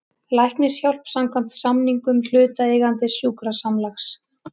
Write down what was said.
Læknishjálp samkvæmt samningum hlutaðeigandi sjúkrasamlags.